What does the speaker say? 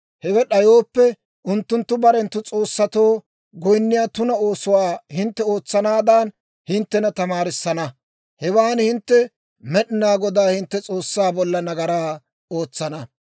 Hewe d'ayooppe, unttunttu barenttu s'oossatoo goyinniyaa tuna oosuwaa hintte ootsanaadan hinttena tamaarissana; hewan hintte Med'inaa Godaa hintte S'oossaa bolla nagaraa ootsana.